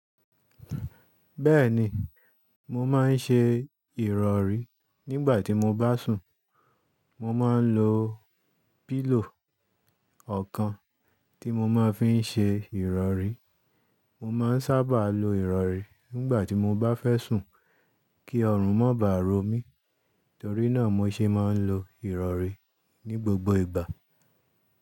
Bẹ́ẹ̀ni, mo máa ń ṣe ìrọ̀rí nígbà tí mo bá sùn. Mo máa ń lo píllòw ọ̀kan tí mo máa ń fi ṣe ìrọ̀rí. Mo máa ń sábà lo ìrọ̀rí nígbà tí mo bá fẹ́ sùn kí ọrùn má bà rò mí. Torí náà, mo ṣe máa ń lo ìrọ̀rí ní gbogbo ìgbà.